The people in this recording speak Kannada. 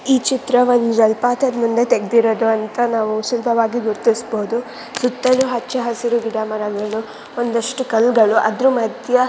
ಚಿತ್ರವನ್ನು ಜಲಪಾತದ ತೆಗ್ದಿರೋದು ಅಂತ ನಾವು ಸುಲಭವಾಗಿ ಗುರ್ತಿಸಬಹದು ಸುತ್ತಲೂ ಹಚ್ಚ ಹಸಿರು ಗಿಡ ಮರಗಳು ಒಂದಷ್ಟು ಕಲ್ಲುಗಳು ಅದ್ರ ಮದ್ಯ--